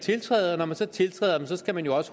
tiltræde og når man så tiltræder dem skal man også